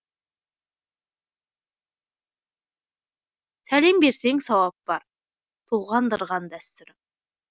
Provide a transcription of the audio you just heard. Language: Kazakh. сәлем берсең сауап бар толғандырған дәстүрім